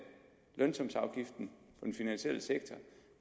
lønsumsafgiften i den finansielle sektor